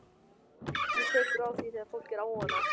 Haukur: Hvernig tekurðu á því þegar fólk er óánægt?